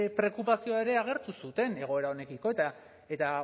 preokupazioa ere agertu zuten egoera honekiko eta